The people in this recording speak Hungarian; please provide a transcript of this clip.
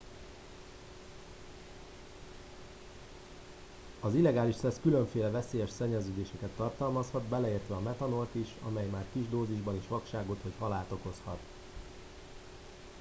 az illegális szesz különféle veszélyes szennyeződéseket tartalmazhat beleértve a metanolt is amely már kis dózisban is vakságot vagy halált okozhat